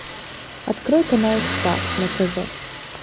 открой канал спас на тв